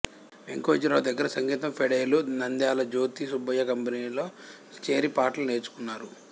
వెంకోజీరావు దగ్గర సంగీతం ఫేడేలు నంద్యాల జ్యోతి సుబ్బయ్య కంపెనీలో చేరి పాటలు నేర్చుకున్నారు